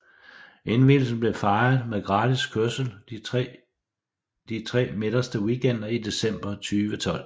Indvielsen blev fejret med gratis kørsel de tre midterste weekender i december 2012